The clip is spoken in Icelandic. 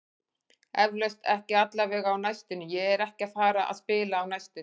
Eflaust, ekki allavega á næstunni, ég er ekki að fara að spila á næstunni.